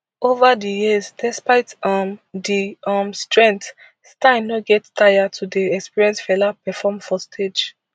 ova di years despite um di um strength stein no get taya to dey experience fela perform for stage